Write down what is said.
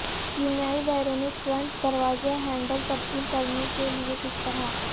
کیمیائی بیرونی فرنٹ دروازے ہینڈل تبدیل کرنے کے لئے کس طرح